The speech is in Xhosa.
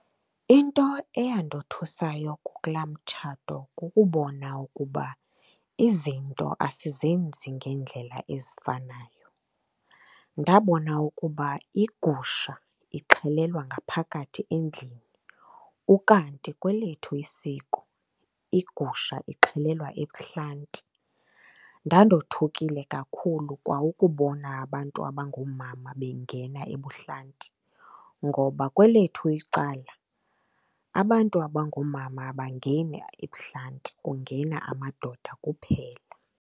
Into eyandothusayo kulaa mtshato kukubona ukuba izinto asizenzi ngendlela ezifanayo. Ndabona ukuba iigusha ixhelelwa ngaphakathi endlini, ukanti kwelethu isiko iigusha ixhelelwa ebuhlanti. Ndandothukile kakhulu kwa ukubona abantu abangoomama bengena ebuhlanti, ngoba kwelethu icala, abantu abangoomama abangeni ebuhlanti, kungena amadoda kuphela.